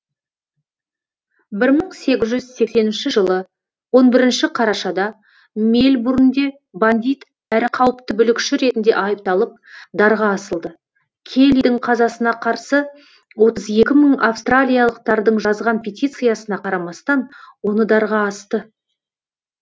бір мың сегіз жүз сексенінші жылы он бірінші қарашада мельбурнде бандит әрі қауіпті бүлікші ретінде айыпталып дарға асылды келлидің қазасына қарсы отыз екі мың австралиялықтардың жазған петициясына қарамастан оны дарға асты